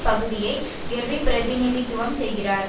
பகுதியை கெர்ரி பிரதிநித்துவம் செய்கிறார்